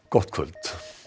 gott kvöld